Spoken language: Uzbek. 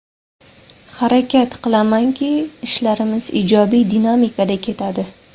Harakat qilamanki, ishlarimiz ijobiy dinamikada ketadi.